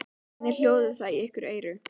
Hvernig hljóðar það í ykkar eyru?